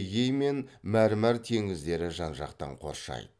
эгей мен мәрмәр теңіздері жан жақтан қоршайды